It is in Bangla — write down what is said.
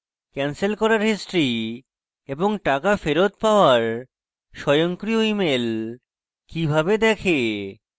ক্যানসেল করার history এবং টাকা ফেরৎ পাওয়ার স্বয়ংক্রিয় email কিভাবে দেখে